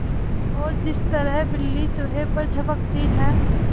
और जिस तरह बिल्ली चूहे पर झपटती है